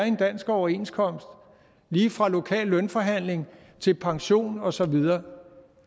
en dansk overenskomst lige fra lokale lønforhandlinger til pension og så videre